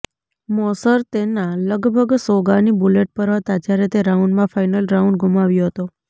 મોશર તેના લગભગ સોગાની બુલેટ પર હતા જ્યારે તે રાઉન્ડમાં ફાઇનલ રાઉન્ડ ગુમાવ્યો હતો